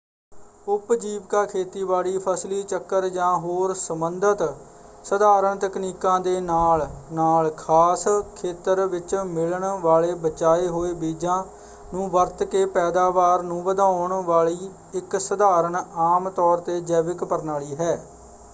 ਉਪਜੀਵਕਾ ਖੇਤੀਬਾੜੀ ਫ਼ਸਲੀ ਚੱਕਰ ਜਾਂ ਹੋਰ ਸੰਬੰਧਿਤ ਸਧਾਰਨ ਤਕਨੀਕਾਂ ਦੇ ਨਾਲ-ਨਾਲ ਖਾਸ ਖੇਤਰ ਵਿੱਚ ਮਿਲਣ ਵਾਲੇ ਬਚਾਏ ਹੋਏ ਬੀਜਾਂ ਨੂੰ ਵਰਤ ਕੇ ਪੈਦਾਵਾਰ ਨੂੰ ਵਧਾਉਣ ਵਾਲੀ ਇੱਕ ਸਧਾਰਨ ਆਮ ਤੌਰ 'ਤੇ ਜੈਵਿਕ ਪ੍ਰਣਾਲੀ ਹੈ।